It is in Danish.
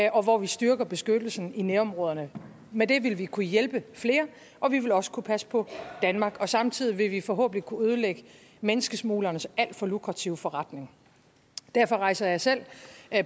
og hvor vi styrker beskyttelsen i nærområderne med det vil vi kunne hjælpe flere og vi vil også kunne passe på danmark og samtidig vil vi forhåbentlig kunne ødelægge menneskesmuglernes alt for lukrative forretning derfor rejser jeg selv